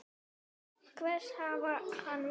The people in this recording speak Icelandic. Hvers hafði hann vænst?